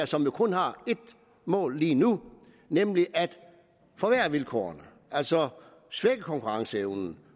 som jo kun har et mål lige nu nemlig at forværre vilkårene altså svække konkurrenceevnen